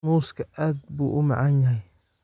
Muuska aad buu u macaan yahay.